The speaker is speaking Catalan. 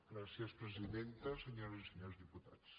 gràcies presidenta senyores i senyors diputats